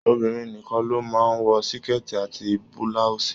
Obìnrin nìkàn ló máa n wọ síkẹ́tí àti bilausi.